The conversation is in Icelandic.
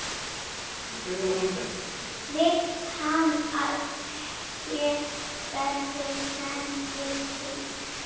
Vill hann að her verði sendur til Íslands?